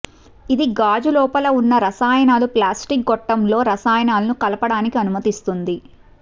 ఇది గాజు లోపల ఉన్న రసాయనాలు ప్లాస్టిక్ గొట్టంలో రసాయనాలను కలపడానికి అనుమతిస్తుంది